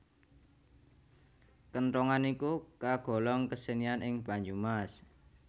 Kenthongan iku kagolong kesenian ing Banyumas